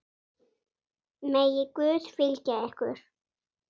Megi Guð fylgja ykkur.